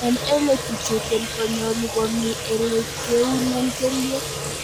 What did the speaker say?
En ele kichuten konyolu komii ele kiunen kelyek.